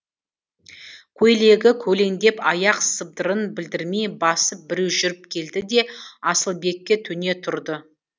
көйлегі көлеңдеп аяқ сыбдырын білдірмей басып біреу жүріп келді де асылбекке төне тұрды